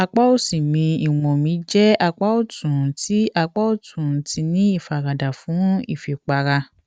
apá òsì mi ìwọn mi jẹ apá ọtún ti apá ọtún ti ní ìfaradà fún ìfipára